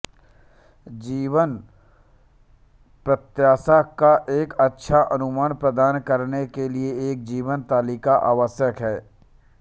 जीवन प्रत्याशा का एक अच्छा अनुमान प्रदान करने के लिए एक जीवन तालिका आवश्यक है